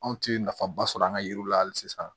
Anw tɛ nafaba sɔrɔ an ka yiriw la hali sisan